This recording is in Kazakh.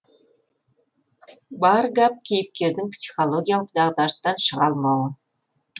бар гәп кейіпкердің психологиялық дағдарыстан шыға алмауы